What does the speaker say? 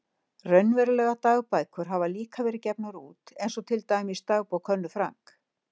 Raunverulegar dagbækur hafa líka verið gefnar út, eins og til dæmis Dagbók Önnu Frank.